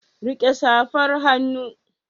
Rike safar hannu.